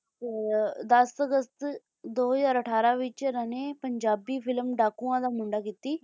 ਤੇ ਦਸ ਅਗਸਤ ਦੋ ਹਜ਼ਾਰ ਅਠਾਰਾਂ ਵਿੱਚ ਇਨ੍ਹਾਂ ਨੇ ਪੰਜਾਬੀ film ਡਾਕੂਆਂ ਦਾ ਮੁੰਡਾ ਕੀਤੀ